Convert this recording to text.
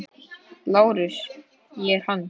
LÁRUS: Ég er hann.